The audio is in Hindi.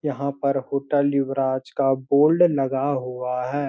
यहाँ पर होटल युवराज का बोल्ड लगा हुआ है।